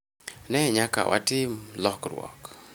ne nyaka watim lokruok